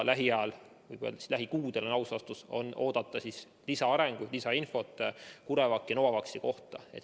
Lähiajal – võib öelda, et lähikuudel, on aus vastus – on oodata lisaarenguid ja lisainfot ka CureVaci ja Novavaxi kohta.